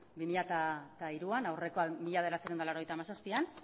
bi mila hiruan aurrekoa mila bederatziehun eta laurogeita hamazazpian